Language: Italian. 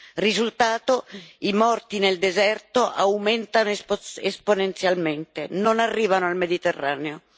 Il risultato è che i morti nel deserto aumentano esponenzialmente, non arrivano al Mediterraneo.